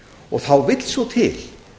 og þá vill svo til